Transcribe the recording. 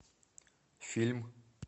фильм